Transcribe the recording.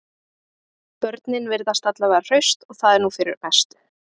Börnin virðast alla vega hraust og það er nú fyrir mestu